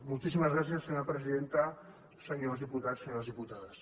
moltíssimes gràcies senyora presidenta senyors diputats senyores diputades